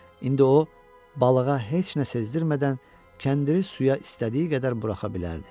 İndi o balığa heç nə sezdirmədən kəndiri suya istədiyi qədər buraxa bilərdi.